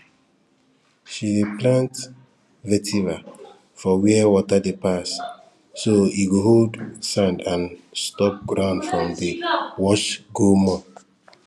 she dey plant vetiver for where water dey pass so e go hold sand and stop ground from dey wash go more